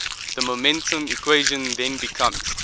the momentum equation then becomes